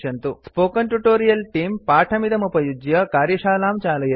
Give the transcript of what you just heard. spoken tutorial तेऽं पाठमिदमुपयुज्य कार्यशालां चालयति